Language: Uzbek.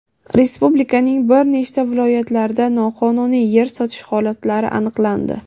Respublikaning bir nechta viloyatlarida noqonuniy yer sotish holatlari aniqlandi.